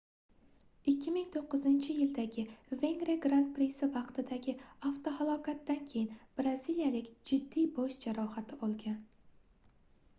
2009-yildagi vengriya gran prisi vaqtidagi avtohalokatdan keyin braziliyalik jiddiy bosh jarohati olgan